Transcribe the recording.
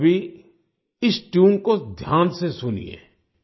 अब आप सभी इस ट्यून को ध्यान से सुनिए